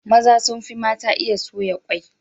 Maza sun fi mata iya soya kwai.